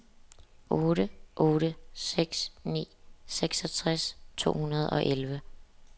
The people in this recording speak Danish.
otte otte seks ni seksogtres to hundrede og elleve